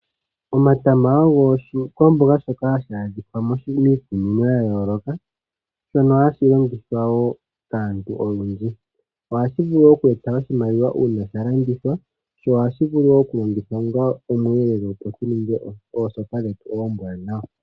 Omatama ogo oshikwamboga shoka hashi adhika miikunino ya yooloka, shono hashi longithwa woo kaantu oyendji. Ohashi vulu woo oku eta oshimaliwa uuna sha landithwa, sho ohashi vulu wo oku longithwa onga omweelelo, opo shi ninge oosopa dhetu oombwanawa.